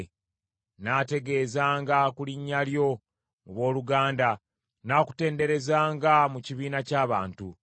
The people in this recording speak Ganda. Nnaategezanga ku linnya lyo mu booluganda; nnaakutenderezanga mu kibiina ky’abantu.